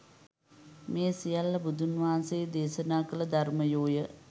මේ සියල්ල බුදුන් වහන්සේ දේශනා කළ ධර්මයෝ ය.